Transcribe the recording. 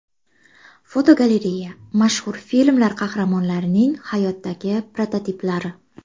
Fotogalereya: Mashhur filmlar qahramonlarining hayotdagi prototiplari.